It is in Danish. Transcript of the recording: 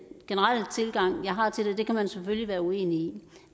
generelle tilgang jeg har til det den kan man selvfølgelig være uenig